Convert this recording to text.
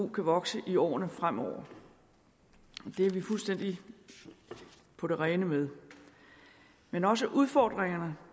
kan vokse i årene fremover det er vi fuldstændig på det rene med men også udfordringerne